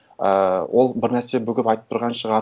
ііі ол бір нәрсе бүгіп айтып тұрған шығар